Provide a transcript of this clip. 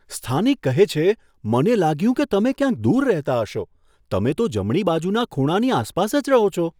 સ્થાનિક કહે છે, મને લાગ્યું કે તમે ક્યાંય દૂર રહેતા હશો. તમે તો જમણી બાજુના ખૂણાની આસપાસ જ રહો છો.